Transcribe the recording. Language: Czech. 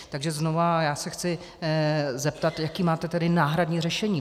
Takže znova, já se chci zeptat, jaké máte tedy náhradní řešení.